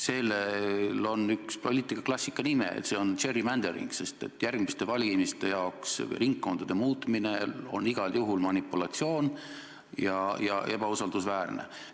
Sellel on poliitikaklassikas üks nimi, see on gerrymandering, sest järgmiste valimiste jaoks ringkondade muutmine on igal juhul manipulatsioon ja ebausaldusväärne.